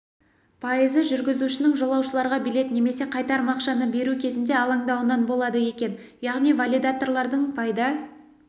пайызы жүргізушінің жолаушыларға билет немесе қайтарым ақшаны беру кезінде алаңдауынан болады екен яғни валидаторлардың пайда